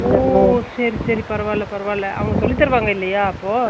ஒ சேரிசேரி பரவால்ல அவுங்க சொல்லிதாருவாங்க இல்லையா அப்போ